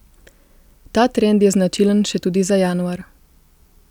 Ta trend je značilen še tudi za januar.